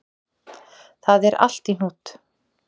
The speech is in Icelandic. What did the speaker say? Það er allt í hnút